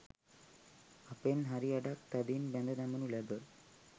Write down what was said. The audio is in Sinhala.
අපෙන් හරි අඩක් තදින් බැඳ දමනු ලැබ